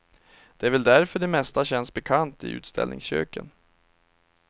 Det är väl därför det mesta känns bekant i utställningsköken.